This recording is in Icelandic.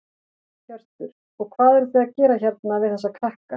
Hjörtur: Og hvað eruð þið að gera hérna við þessa krakka?